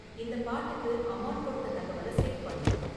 இந்த பாட்டுக்கு அமான் கொடுத்த தகவலை சேவ் பண்ணு